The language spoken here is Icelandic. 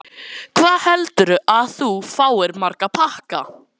Lillý: Hvað heldurðu að þú fáir marga pakka?